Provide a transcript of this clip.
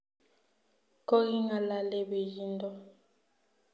Kokingalale pichiindo